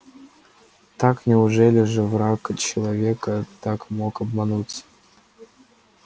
так неужели же враг человека так мог обмануть